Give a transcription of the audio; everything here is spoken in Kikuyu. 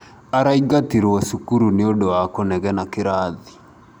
araingatirwo cukuru nĩũndũ wa kũnegena kĩrathi.